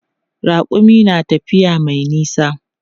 Raƙumi na tafiya mai nisa.